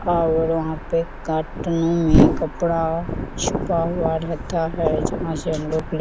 और वहाँ पे कॉटन में कपड़ा छुपा हुआ रहता है जहाँ पर से हम लोग लेते --